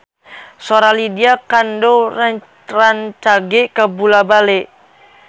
Sora Lydia Kandou rancage kabula-bale